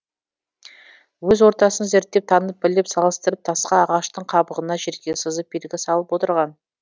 өз ортасын зерттеп танып біліп салыстырып тасқа ағаштың қабығына жерге сызып белгі салып отырған